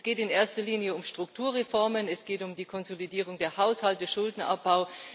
Es geht in erster Linie um Strukturreformen, es geht um die Konsolidierung der Haushalte, den Schuldenabbau.